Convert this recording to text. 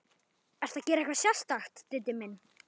Ertu að gera eitthvað sérstakt, Diddi minn.